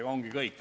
See ongi kõik.